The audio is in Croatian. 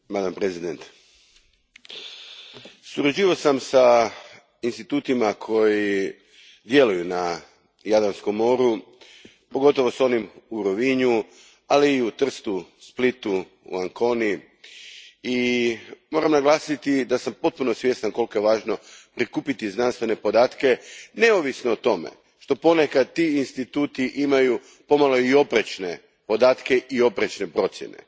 Gospođo predsjednice, surađivao sam s institutima koji djeluju na Jadranskom moru, pogotovo s onim u Rovinju, ali i u Trstu, Splitu, u Anconi i moram naglasiti da sam potpuno svjestan koliko je važno prikupiti znanstvene podatke neovisno o tome što ponekad ti instituti imaju i pomalo oprečne podatke i oprečne procjene.